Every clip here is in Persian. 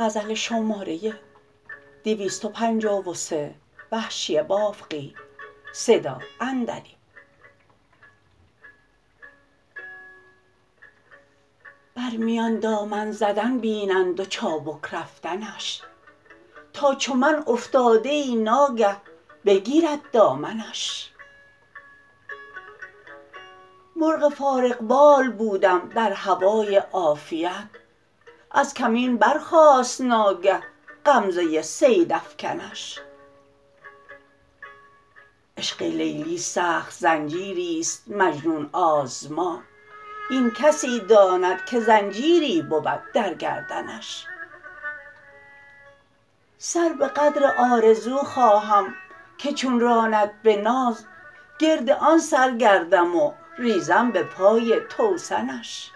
بر میان دامن زدن بینند و چابک رفتنش تا چو من افتاده ای نا گه بگیرد دامنش مرغ فارغ بال بودم در هوای عافیت از کمین برخاست ناگه غمزه صید افکنش عشق لیلی سخت زنجیریست مجنون آزما این کسی داند که زنجیری بود در گردنش سر به قدر آرزو خواهم که چون راند به ناز گرد آن سر گردم و ریزم به پای توسنش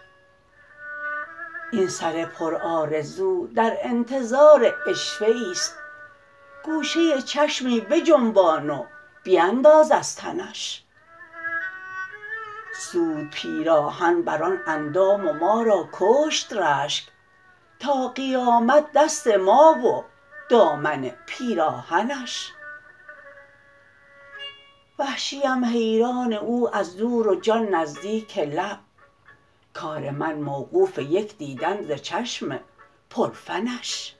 این سر پرآرزو در انتظار عشوه ایست گوشه چشمی بجنبان و بینداز از تنش سود پیراهن بر آن اندام و ما را کشت رشک تا قیامت دست ما و دامن پیراهنش وحشیم حیران او از دور و جان نزدیک لب کار من موقوف یک دیدن ز چشم پر فنش